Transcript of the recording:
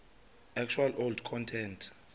actual old content